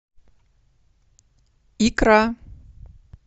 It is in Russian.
икра